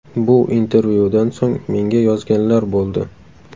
Bu intervyudan so‘ng menga yozganlar bo‘ldi.